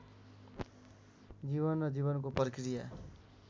जीवन र जीवनको प्रक्रिया